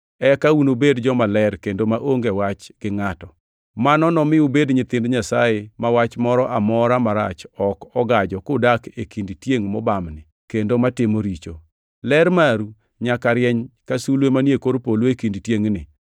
eka ubed jomaler kendo maonge wach gi ngʼato. Mano nomi ubed nyithind Nyasaye ma wach moro amora marach ok ogajo kudak e kind tiengʼ mobamni kendo matimo richo. Ler maru nyaka rieny ka sulwe manie kor polo e kind tiengʼni,